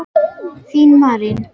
Þín Marín.